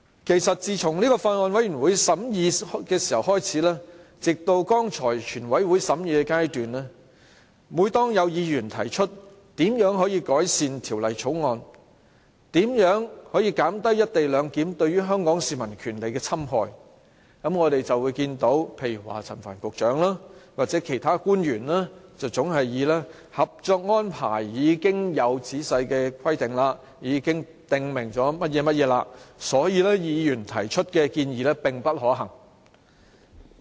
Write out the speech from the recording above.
其實，自從法案委員會審議開始，直至剛才全體委員會審議階段，每當有議員提出如何改善《條例草案》，如何可以減低"一地兩檢"對於香港市民權利的侵害時，我們就會看到陳帆局長或其他官員總是回應指《合作安排》已經有仔細規定，已經訂明細節，所以，議員提出的建議並不可行。